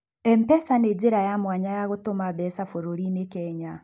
Mpesa nĩ njĩra ya mwanya ya gũtũma mbeca bũrũri-inĩ Kenya